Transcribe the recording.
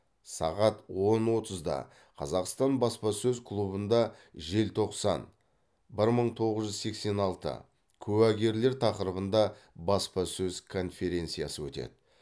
сағат он отызда қазақстан баспасөз клубында желтоқсан бір мың тоғыз жүз сексен алты куәгерлер тақырыбында баспасөз конференциясы өтеді